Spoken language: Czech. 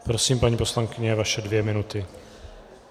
Prosím, paní poslankyně, vaše dvě minuty.